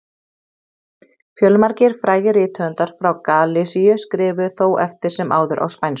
fjölmargir frægir rithöfundar frá galisíu skrifuðu þó eftir sem áður á spænsku